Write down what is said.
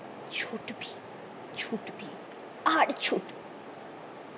ছুটবি ছুটবি আর ছুটবি